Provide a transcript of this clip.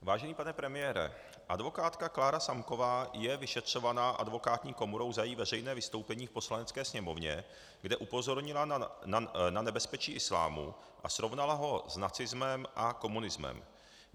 Vážený pane premiére, advokátka Klára Samková je vyšetřovaná advokátní komorou za její veřejné vystoupení v Poslanecké sněmovně, kde upozornila na nebezpečí islámu a srovnala ho s nacismem a komunismem.